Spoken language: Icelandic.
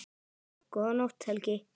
Góða nótt, Helgi.